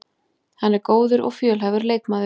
Hann er góður og fjölhæfur leikmaður